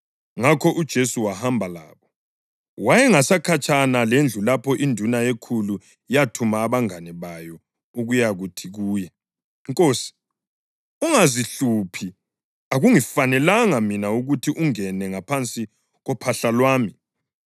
Ngakho uJesu wahamba labo. Wayengasekhatshana lendlu lapho induna yekhulu yathuma abangane bayo ukuyakuthi kuye, “Nkosi, ungazihluphi, akungifanelanga mina ukuthi ungene ngaphansi kophahla lwami.